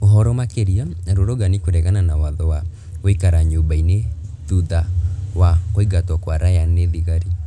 Ũhoro makĩria arũrũngani kũregana na watho wa gũikara nyũmba-inĩ thutha wa kũingatwo kwa Ryan nĩ thigari.